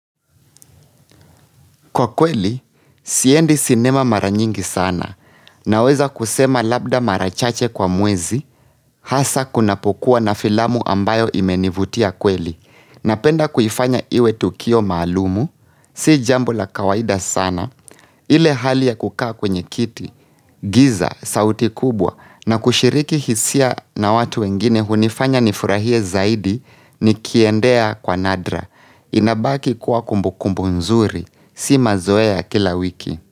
Kwakweli, siendi sinema mara nyingi sana, naweza kusema labda mara chache kwa mwezi, hasa kunapokuwa na filamu ambayo imenivutia kweli, napenda kuifanya iwe tukio maalumu, si jambo la kawaida sana, ile hali ya kukaa kwenye kiti, giza, sauti kubwa, na kushiriki hisia na watu wengine hunifanya nifurahie zaidi, nikiendea kwa nadra, inabaki kuwa kumbukumbu nzuri, Si mazoea kila wiki.